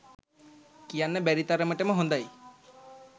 කියන්න බැරි තරමටම හොදයි